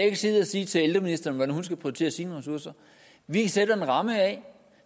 ikke sidde og sige til ældreministeren hvordan hun skal prioritere sine ressourcer vi sætter en ramme